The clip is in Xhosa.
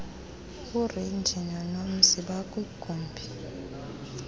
urenji nonomzi bakwigumbi